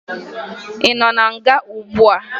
Ị nọ na nga ugbua?